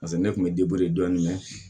Paseke ne kun bɛ dɔɔni mɛn